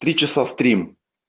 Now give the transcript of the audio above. три часа стрим